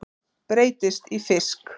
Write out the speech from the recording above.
Breytist í fisk.